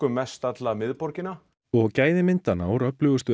mest alla miðborgina og gæði myndanna úr öflugustu